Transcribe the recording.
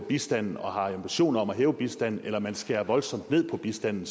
bistanden og har en ambition om at hæve bistanden eller om man skærer voldsomt ned på bistanden